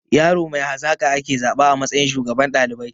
Yaro mai hazaƙa ake zaba a matsayin shugaban ɗalibai